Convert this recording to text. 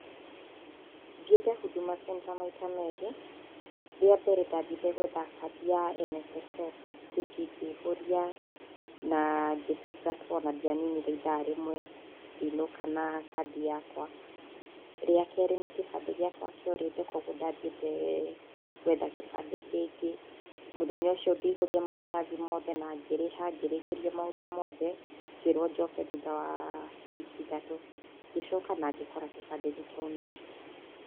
Thiĩte Huduma Center maita merĩ. Rĩa mbere ndathiĩte gũetha kandi ya NSSF. Ngĩthiĩ ngĩihũria, na ngĩtungatwo, na ndianinire ithaa rĩmwe, ngĩinũka na kandi yakwa. Rĩa kerĩ nĩ kĩbandĩ gĩakwa kĩorĩte koguo ndathiĩte gũetha kĩbandĩ kĩngĩ. Mũthenya ũcio ngĩihũria maratathi mothe na ngĩrĩha ngĩrĩkĩrio maũndũ mothe, ngĩĩrwo njoke thutha wa wiki ithatũ. Ngĩcoka na ngĩkora kĩbandĩ nĩ kĩaumire.